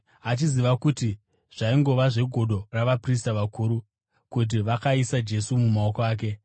achiziva kuti zvaingova zvegodo ravaprista vakuru kuti vakaisa Jesu mumaoko ake.